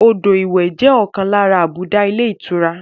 Odò ìwẹ̀ jẹ ọkan lára àbùdá ilé ìtura